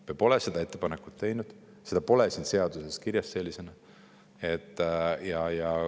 Me pole seda ettepanekut teinud, seda pole siin seaduses kirjas sellisena.